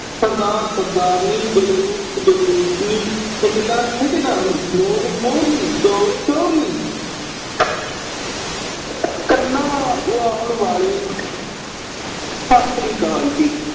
ਸਰਦਾਰ-ਸਰਦਾਰਨੀ, , ਠੇਕੇਦਾਰ-ਠੇਕੇਦਾਰਨੀ, ਮੋਰ-ਮੋਰਨੀ, ਚੋਰ-ਚੋਰਨੀ। ਕੰਨਾ ਵਾਲੇ। ਸਤਿ ਸ੍ਰੀ ਅਕਾਲ ਜੀ।